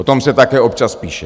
O tom se také občas píše.